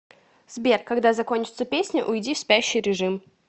сбер когда закончится песня уйди в спящий режим